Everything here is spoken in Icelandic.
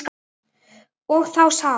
Og þá það.